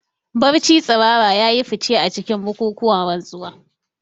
Barci tsirara ya yi fice a cikin bukukuwan rantsuwa.